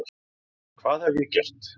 Hvað hef ég gert?